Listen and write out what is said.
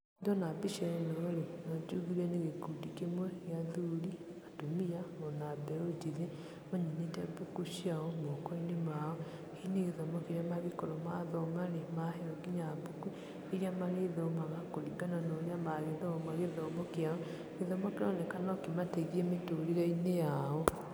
Ndona mbica ĩno rĩ, no njugire nĩ gĩkundi kĩmwe gĩa athuri, atumia, na ona mbeũ njĩthĩ. Manyitĩte mbuku ciao moko-inĩ mao. Hihi nĩ gĩthomo kĩrĩa mangĩkorwo mathoma, na maheeo nginya mbuku, irĩa marĩthomaga, kũringana na ũrĩa magĩthoma gĩthomo kĩao. Gĩthomo kĩroneka no kĩmateithie mĩtũrĩre-inĩ yao.